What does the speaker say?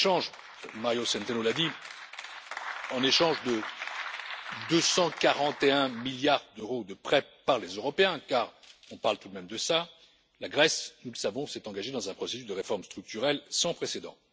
Comme l'a dit Mario Centeno, en échange de 241 milliards d'euros de prêts par les Européens, car on parle tout de même de cela, la Grèce, nous le savons, s'est engagée dans un processus de réformes structurelles sans précédent.